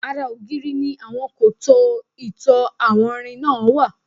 Ara ògiri ni àwọn koto ìtọ̀ àwọnrin náà wà.